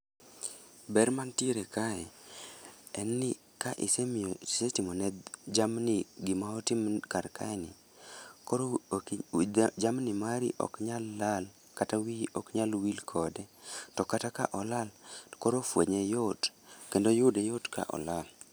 Ber mantiere kae, en ni ka isemiyo isetimo ne jamni gima otim kar kae ni. Koro oki jamni mari ok nyal lal kata wiyi ok nyal wil kode. To kata ka olal, to koro fwenye yot kendo yude yot ka olal.